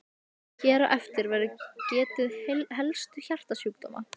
Hér á eftir verður getið helstu hjartasjúkdóma.